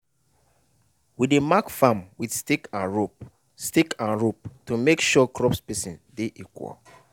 we dey mark farm with stick and rope stick and rope to make sure crop spacing de equal